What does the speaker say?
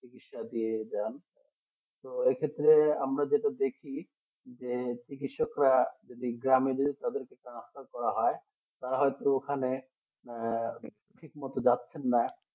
চিকিৎসা দিয়ে তো এক্ষেত্রে আমরা যদি দেখি যে চিকিৎসা আমাদের Transfer করা হয় তারা তো এখানে ঠিকমতো যাচ্ছেন না